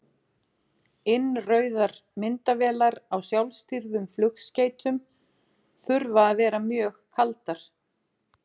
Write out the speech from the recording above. Innrauðar myndavélar á sjálfstýrðum flugskeytum þurfa að vera mjög kaldar.